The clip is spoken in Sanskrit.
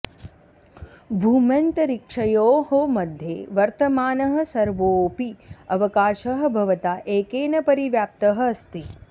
भूम्यन्तरिक्षयोः मध्ये वर्तमानः सर्वोऽपि अवकाशः भवता एकेन परिव्याप्तः अस्ति